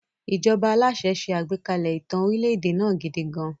Ìjọba aláṣẹ ṣe àgbékalẹ̀ ìtàn orílẹ̀-èdè náà gidi gan-an.